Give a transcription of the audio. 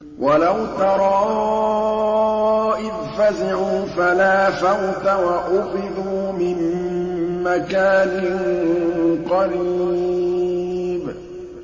وَلَوْ تَرَىٰ إِذْ فَزِعُوا فَلَا فَوْتَ وَأُخِذُوا مِن مَّكَانٍ قَرِيبٍ